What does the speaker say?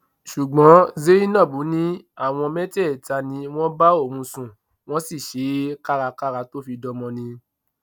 ṣùgbọn zainab ní àwọn mẹtẹẹta ni wọn bá òun sùn wọn sì ṣe é kárakára tó fi dọmọ ni